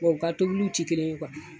u ka tobiliw ti kelen ye